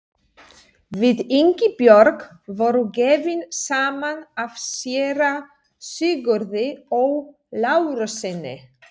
Við Ingibjörg voru gefin saman af séra Sigurði Ó. Lárussyni.